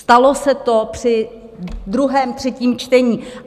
Stalo se to při druhém, třetím čtení.